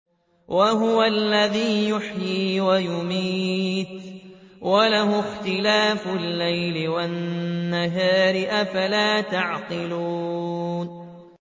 وَهُوَ الَّذِي يُحْيِي وَيُمِيتُ وَلَهُ اخْتِلَافُ اللَّيْلِ وَالنَّهَارِ ۚ أَفَلَا تَعْقِلُونَ